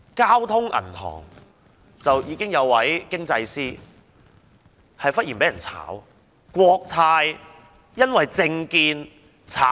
交通銀行有一位經濟師忽然被炒，國泰也有人因為政見被炒......